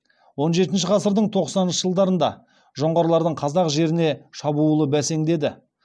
он жетінші ғасырдың тоқсаныншы жылдарында жоңғарлардың қазақ жеріне шабуылы бәсеңдеді